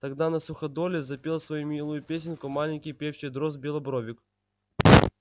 тогда на суходоле запел свою милую песенку маленький певчий дрозд-белобровик